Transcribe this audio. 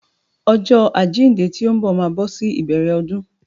Ọjọ́ àjíǹde tó ń bọ̀ máa bọ́ sí ìbẹ̀rẹ̀ ọdún.